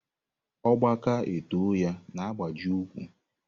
Ọgba ka e too ya na-agbaji úkwú.